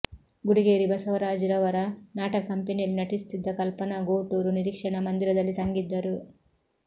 ಗುಡಿಗೇರಿ ಬಸವರಾಜ್ ರವರ ನಾಟಕ ಕಂಪನಿಯಲ್ಲಿ ನಟಿಸುತ್ತಿದ್ದ ಕಲ್ಪನಾ ಗೋಟೂರು ನಿರೀಕ್ಷಣಾ ಮಂದಿರದಲ್ಲಿ ತಂಗಿದ್ದರು